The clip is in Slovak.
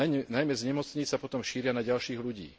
Najmä z nemocníc sa potom šíria na ďalších ľudí.